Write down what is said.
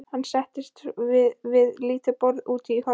Hann settist við lítið borð úti í horni.